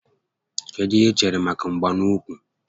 Kedụ ihe i chere maka mgba n'úkwù